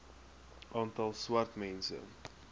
aantal swart mense